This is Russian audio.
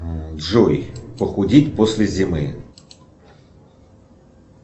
джой похудеть после зимы